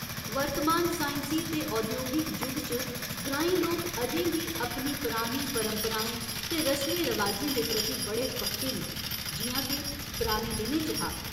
वर्तमान साइंसी ते औद्योगिक जुग च, ग्रांईं लोक अजें बी अपनी परानी परंपराएं ते रसमें रवाजें दे प्रति बड़े पक्के न, जि'यां के पराने दिनें च हा।